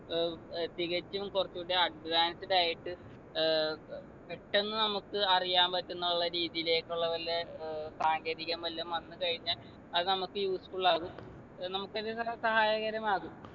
ഏർ തികച്ചും കുറച്ചുകൂടെ advanced ആയിട്ട് ഏർ പെട്ടെന്ന് നമുക്ക് അറിയാൻ പറ്റുന്നുള്ള രീതിലേക്കുള്ള വല്ല ഏർ സാങ്കേതികം വല്ലാം വന്നു കഴിഞ്ഞാ അത് നമുക്ക് useful ആകും ഏർ നമുക്ക് അത് ഒരു സഹായകരമാകും